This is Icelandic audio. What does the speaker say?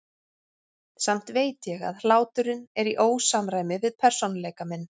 Samt veit ég að hláturinn er í ósamræmi við persónuleika minn.